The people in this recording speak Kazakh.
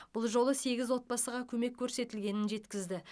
бұл жолы сегіз отбасыға көмек көрсетілгенін жеткізді